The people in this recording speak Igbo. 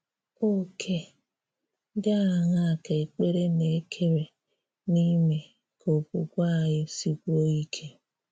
Òkè̀ dị aṅaà ka ekperé na-ekerè n’ime ka okwukwè anyị sikwuò ike?